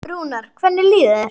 Rúnar, hvernig líður þér?